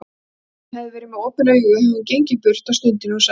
Ef hún hefði verið með opin augu hefði hún gengið burt á stundinni og sagt